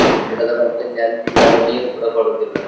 ಸಮುದ್ರದ ಬದಿಯಲ್ಲಿ ಅಲ್ಲಿ ಅವರು ನೀರು ಕೂಡ ಕೊಡುದಿಲ್ಲ.